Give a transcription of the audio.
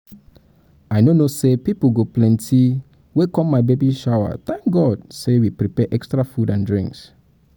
i no know say people go um plenty come my plenty come my baby um shower thank god um say we prepare extra food and drinks